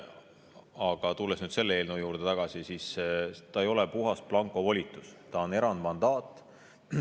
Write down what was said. Aga tulles nüüd selle eelnõu juurde tagasi: see ei ole puhas blankovolitus, see on erandmandaat.